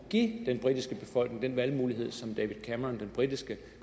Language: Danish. give den britiske befolkning den valgmulighed som david cameron den britiske